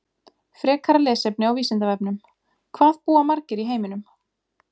Frekara lesefni á Vísindavefnum: Hvað búa margir í heiminum?